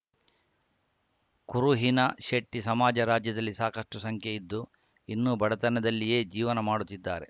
ಕುರುಹಿನ ಶೆಟ್ಟಿಸಮಾಜ ರಾಜ್ಯದಲ್ಲಿ ಸಾಕಷ್ಟುಸಂಖ್ಯೆ ಇದ್ದು ಇನ್ನೂ ಬಡತನದಲ್ಲಿಯೇ ಜೀವನ ಮಾಡುತ್ತಿದ್ದಾರೆ